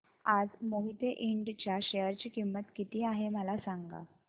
आज मोहिते इंड च्या शेअर ची किंमत किती आहे मला सांगा